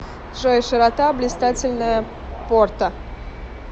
джой широта блистательная порта